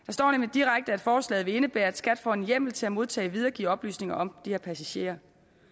direkte at forslaget vil indebære at skat får en hjemmel til at modtage og videregive oplysninger om de her passagerer